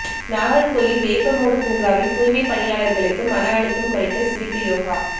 நாகர்கோவில் வேப்பமூடு பூங்காவில் தூய்மை பணியாளர்களுக்கு மனஅழுத்தம் குறைக்க சிரிப்பு யோகா